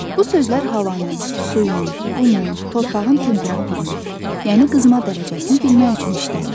Bu sözlər havanın, suyun, qumun, torpağın temperaturunu, yəni qızma dərəcəsini bilmək üçün işlədilir.